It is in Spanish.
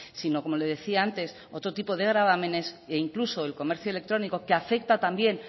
sino como le decía antes otro tipo de gravámenes e incluso el comercio electrónico que afecta también